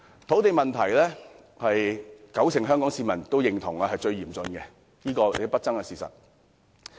土地問題是九成香港市民認同是最嚴峻的，這是不爭的事實。